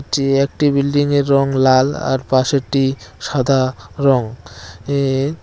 যে একটি বিল্ডিং এর রং লাল আর পাশেরটি সাদা রং এ-এর --